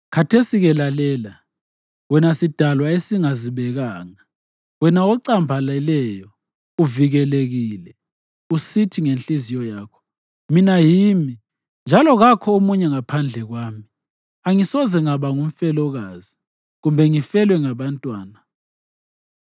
Khathesi-ke lalela, wena sidalwa esingazibekanga, wena ocambaleleyo uvikelekile usithi ngenhliziyo yakho, ‘Mina yimi, njalo kakho omunye ngaphandle kwami, angisoze ngaba ngumfelokazi kumbe ngifelwe ngabantwana.’